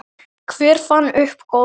Hver fann upp golf?